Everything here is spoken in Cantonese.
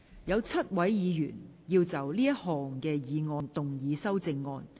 有7位議員要就這項議案動議修正案。